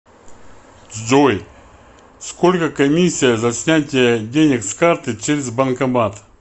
джой сколько комиссия за снятие денег с карты через банкомат